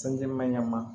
Sanji ma ɲɛnama